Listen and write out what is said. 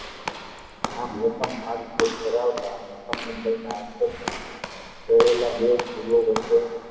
આમ એકમ કરાવતા અને એકમ લંબાયી ના અંતરે રહેલા બે વચ્ચે